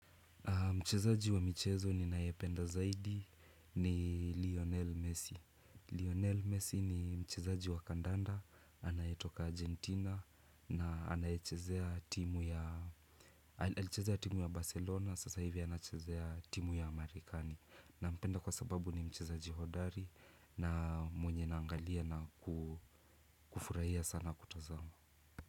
Mchezaji wa michezo ninayependa zaidi ni Lionel Messi. Lionel Messi ni mchezaji wa kandanda, anayetoka Argentina na anaichezea timu ya Barcelona, sasa hivi anachezea timu ya Amerikani. Nampenda kwa sababu ni mchezaji hodari na mwenye naangalia na kufurahia sana kutazama.